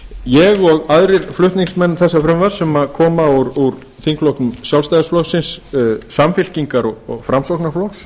ég og aðrir flutningsmenn þessa frumvarps sem koma úr þingflokki sjálfstæðisflokksins samfylkingar og framsóknarflokks